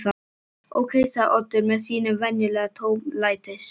Ókei sagði Oddur með sínum venjulega tómlætis